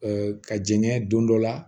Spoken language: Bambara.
ka jɛngɛ don dɔ la